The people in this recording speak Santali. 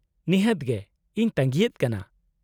-ᱱᱤᱦᱟᱹᱛ ᱜᱮ ᱾ ᱤᱧ ᱛᱟᱺᱜᱤᱭᱮᱫ ᱠᱟᱱᱟ ᱾